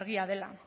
argia dela